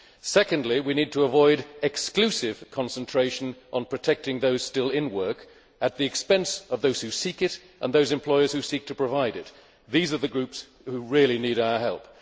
Secondly, we need to avoid exclusive concentration on protecting those still in work at the expense of those who seek it and those employers who seek to provide it. These are the groups who really need our help.